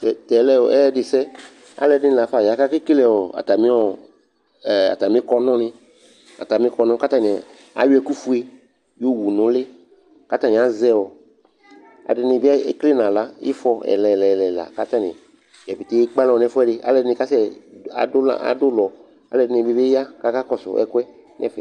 Tɛ tɛ lɛ ɔ ɛyɛdɩsɛ Alʋɛdɩnɩ la fa ya kʋ akekele ɔ atamɩ ɔ ɛ atamɩ kɔnʋ wanɩ atamɩ kɔnʋ kʋ atanɩ ayɔ ɛkʋfue yɔwu nʋ ʋlɩ kʋ atanɩ azɛ ɔ ɛdɩnɩ bɩ ekele nʋ aɣla ɩfɔ ɛla ɛla kʋ atanɩ dza pete ekpe alɔ nʋ ɛfʋɛdɩ Alʋɛdɩnɩ kasɛ adʋ ma adʋ ʋlɔ kʋ ɛdɩnɩ bɩ kʋ akɔsʋ ɛkʋ yɛ nʋ ɛfɛ